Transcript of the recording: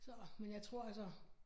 Så men jeg tror altså